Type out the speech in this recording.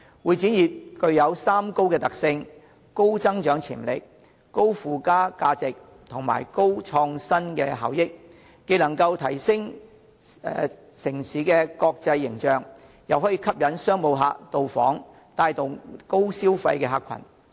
會展業具有三高的特性：高增長潛力、高附加價值及高創新效益，既能提升城市的國際形象，又可以吸引商務旅客到訪，帶動高消費的客群。